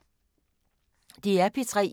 DR P3